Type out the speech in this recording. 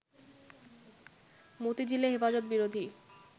মতিঝিলে হেফাজত বিরোধী